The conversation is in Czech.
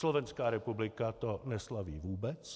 Slovenská republika to neslaví vůbec.